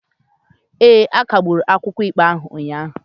A kagburu akwụkwọ ikpe ahụ ụnyahụ.